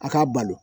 A k'a balo